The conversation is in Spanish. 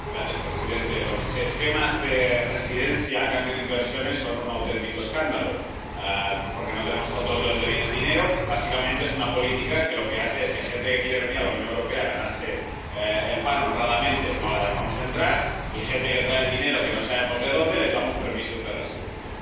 Señor presidente, los regímenes de concesión de residencia a cambio de inversiones son un auténtico escándalo, porque no tenemos control de dónde viene el dinero. Básicamente, es una política que lo que hace es que a gente que quiere venir a la Unión Europea a ganarse el pan honradamente no la dejamos entrar, y a gente que trae el dinero que no sabemos de dónde les damos permisos de residencia.